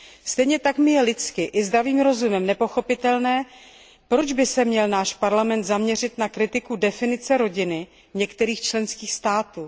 Stejně tak je mi lidsky i zdravým rozumem nepochopitelné, proč by se měl náš Parlament zaměřit na kritiku definice rodiny v některých členských státech.